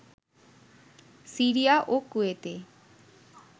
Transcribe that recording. Syria ও কুয়েতে